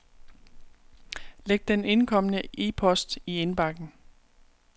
Læg den indkomne e-post i indbakken.